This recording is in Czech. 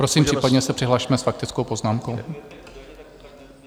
Prosím, případně se přihlasme s faktickou poznámkou.